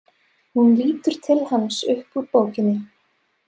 Hún lítur til hans upp úr bókinni.